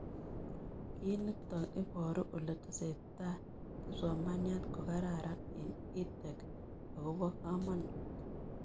Kiy nitok iparu ole tesetai kipsomaniat ko kararan eng' EdTech ako po kamanut